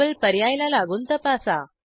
double पर्याय ला लागून तपासा